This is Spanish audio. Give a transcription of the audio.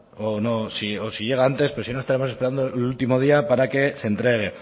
o no si llega antes pero si no estaremos esperando el último día para que se entregue